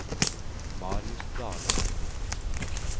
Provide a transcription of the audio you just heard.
Marius Dahle